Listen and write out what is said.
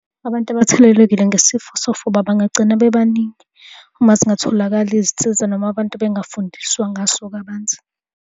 Abantu abathelelekile nesifo sofuba bangagcina bebaningi uma zingatholakali izinsiza noma abantu bengafundiswa ngaso kabanzi.